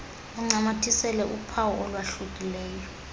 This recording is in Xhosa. uncamathisele uphawu olwahlukileyo